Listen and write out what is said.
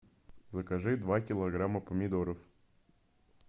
закажи два килограмма помидоров